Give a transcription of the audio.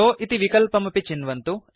shove इति विकल्पमपि चिन्वन्तु